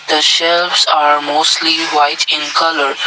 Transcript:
the shelves are mostly white in colour.